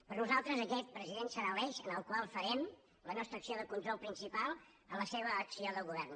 per nosaltres aquest president serà l’eix en el qual farem la nostra acció de control principal a la seva acció de govern